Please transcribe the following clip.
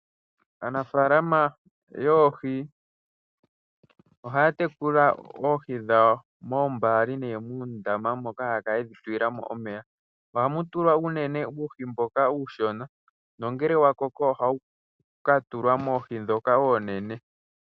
Aanafalama yoohi ohaya tekula oohi dhawo moombali nenge muundama moka haya kala yedhi tulilamo omeya .Ohamu tulwa uunene uuhi mboka uushona nongele wa koko ohawu ka tulwa moohi ndhoka oonene.